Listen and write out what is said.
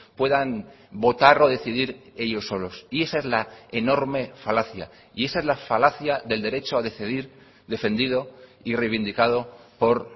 puedan votar o decidir ellos solos y esa es la enorme falacia y esa es la falacia del derecho a decidir defendido y reivindicado por